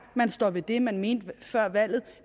man står ved det man mente før valget